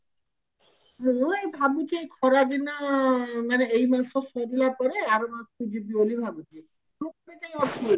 ମୁଁ ଏଇ ଭାବୁଛି ଏଇ ଖରା ଦିନ ମେନ ଏଇ ମାସ ସରିଲା ପରେ ଆର ମାସକୁ ଯିବି ବୋଲି ଭାବୁଛି